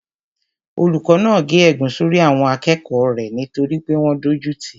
Olùkó náà gé ègún sórí àwọn akẹ́kọ̀ọ́ rẹ̀ nítorí pé wọ́n dójú tìí